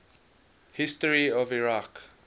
history of iraq